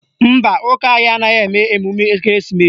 Mba, ụka anyị anaghị eme emume ekereesimesi